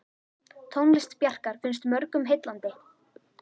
Tónlist Bjarkar finnst mörgum heillandi.